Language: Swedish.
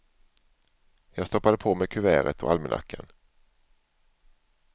Jag stoppade på mig kuvertet och almanackan.